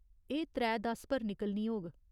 एह् त्रै दस पर निकलनी होग।